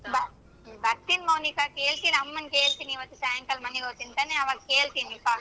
ಬ ಬರ್ತೀನಿ ಮೌನಿಕ ಕೇಳ್ತೀನ್ ಅಮ್ಮನ್ ಕೇಳ್ತೀನಿ ಇವತ್ತು ಸಾಯಂಕಾಲ ಮನೆಗ್ ಹೊಯ್ತೀನಿ ತಾನೇ ಅವಾಗ್ ಕೇಳ್ತೀನಿ ಬಾ.